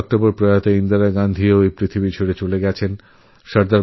৩১শেঅক্টোবর শ্রীমতী ইন্দিরা গান্ধী এই জগৎ ছেড়ে চলে গেছিলেন